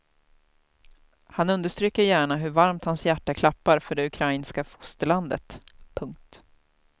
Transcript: Han understryker gärna hur varmt hans hjärta klappar för det ukrainska fosterlandet. punkt